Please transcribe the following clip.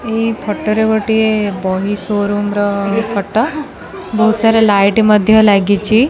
ଏଇ ଫୋଟୋ ରେ ଗୋଟିଏ ବହି ସୋ ରୁମ୍ ର ଫୋଟୋ ବହୁତ ସାରା ଲାଇଟ୍ ମଧ୍ୟ ଲାଗିଚି।